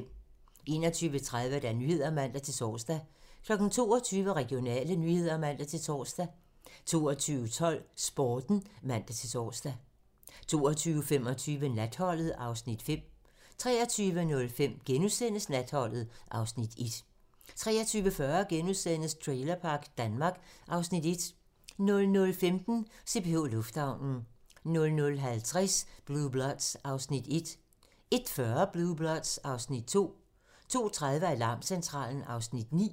21:30: Nyhederne (man-tor) 22:00: Regionale nyheder (man-tor) 22:12: Sporten (man-tor) 22:25: Natholdet (Afs. 5) 23:05: Natholdet (Afs. 1)* 23:40: Trailerpark Danmark (Afs. 1)* 00:15: CPH Lufthavnen (man) 00:50: Blue Bloods (Afs. 1) 01:40: Blue Bloods (Afs. 2) 02:30: Alarmcentralen (Afs. 9)